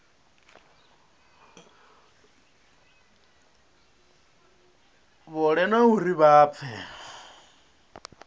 fhole na uri vha pfe